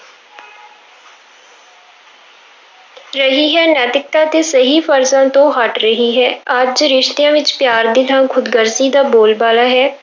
ਰਹੀ ਹੈ, ਨੈਤਿਕਤਾ ਤੇ ਸਹੀ ਫ਼ਰਜ਼ਾਂ ਤੋਂ ਹਟ ਰਹੀ ਹੈ, ਅੱਜ ਰਿਸ਼ਤਿਆਂ ਵਿੱਚ ਪਿਆਰ ਦੀ ਥਾਂ ਖ਼ੁਦਗਰਜ਼ੀ ਦਾ ਬੋਲ ਬਾਲਾ ਹੈ।